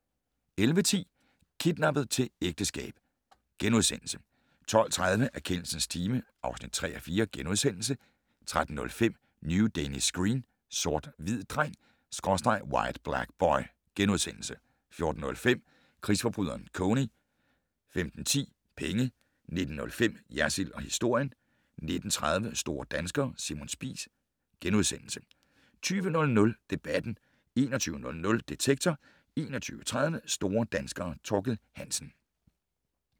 11:10: Kidnappet til ægteskab * 12:30: Erkendelsens time (3:4)* 13:05: New Danish Screen: Sort hvid dreng/White Black Boy * 14:05: Krigsforbryderen Kony 15:10: Penge 19:05: Jersild & historien 19:30: Store danskere - Simon Spies * 20:00: Debatten 21:00: Detektor 21:30: Store danskere - Thorkild Hansen